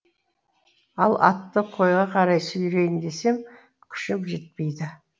ал атты қойға қарай сүйрейін десем күшім жетпейді